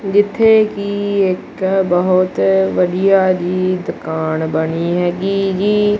ਜਿੱਥੇ ਕੀ ਇੱਕ ਬਹੁਤ ਵਧੀਆ ਜਿਹੀ ਦੁਕਾਣ ਬਣੀ ਹੈਗੀ ਜੀ।